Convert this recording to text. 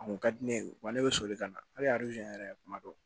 A kun ka di ne ye wa ne bɛ soli ka na hali yɛrɛ kuma dɔw